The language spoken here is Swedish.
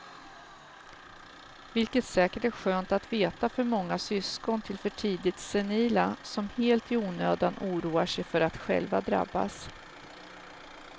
Vilket säkert är skönt att veta för många syskon till för tidigt senila, som helt i onödan oroar sig för att själva drabbas.